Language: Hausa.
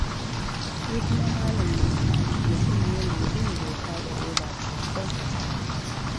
Shi kuma Malam Musa, mutum ne mai bin doka da oda sosai.